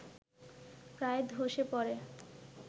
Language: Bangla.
প্রায় ধসে পড়ে